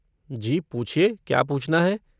जी पूछिए क्या पूछना है।